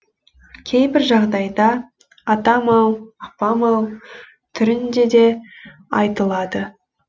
кейбір жағдайда атам ау апам ау түрінде де айтылады